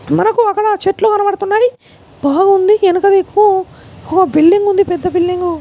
మనకు అక్కడ చెట్లు కనబడుతున్నాయి. బాగుంది ఎనక దిక్కు ఒక బిల్డింగ్ ఉంది. పెద్ద బిల్డింగ్ .